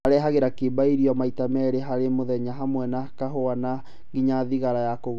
Arehagĩra kĩimba irio maita meerĩ harĩ mũthenya hamwe na kahũa na nginya thigara ya kũgucia